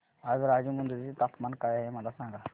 आज राजमुंद्री चे तापमान काय आहे मला सांगा